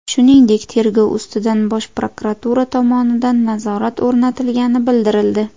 Shuningdek, tergov ustidan Bosh prokuratura tomonidan nazorat o‘rnatilgani bildirildi.